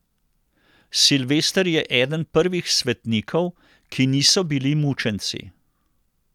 Silvester je eden prvih svetnikov, ki niso bili mučenci.